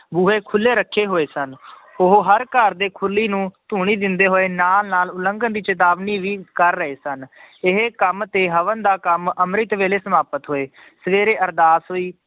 ਬੂਹੇ ਖੁੱਲੇ ਰੱਖੇ ਹੋਏ ਸਨ ਉਹ ਹਰ ਘਰ ਦੇ ਖੁਰਲੀ ਨੂੰ ਧੂਣੀ ਦਿੰਦੇ ਹੋਏ ਨਾਲ ਨਾਲ ਉਲੰਘਣ ਦੀ ਚੇਤਾਵਨੀ ਵੀ ਕਰ ਰਹੇ ਸਨ ਇਹ ਕੰਮ ਤੇ ਹਵਨ ਦਾ ਕੰਮ ਅੰਮ੍ਰਿਤ ਵੇਲੇ ਸਮਾਪਤ ਹੋਏ, ਸਵੇਰੇ ਅਰਦਾਸ ਹੋਈ